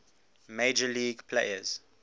major league players